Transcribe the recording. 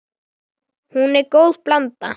Hún er góð blanda.